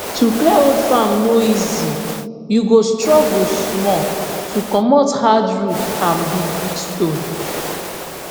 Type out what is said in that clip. to clear old farm no easy you go struggle small to comot hard root and big big stone